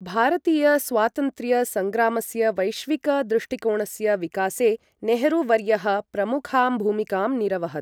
भारतीय स्वातन्त्र्य सङ्ग्रामस्य वैश्विक दृष्टिकोणस्य विकासे नेहरू वर्यः प्रमुखां भूमिकां निरवहत्।